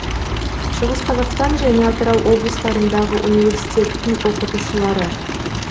шығыс қазақстан және атырау облыстарындағы университеттің оқытушылары